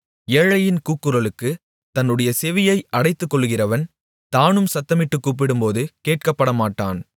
ஏழையின் கூக்குரலுக்குத் தன்னுடைய செவியை அடைத்துக்கொள்ளுகிறவன் தானும் சத்தமிட்டுக் கூப்பிடும்போது கேட்கப்படமாட்டான்